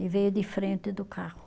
E veio de frente do carro.